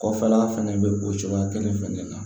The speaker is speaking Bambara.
Kɔfɛla fɛnɛ bɛ o cogoya kelen fɛnɛ de la